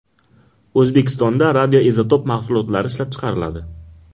O‘zbekistonda radioizotop mahsulotlari ishlab chiqariladi.